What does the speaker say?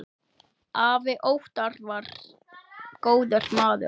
Afi Óttar var góður maður.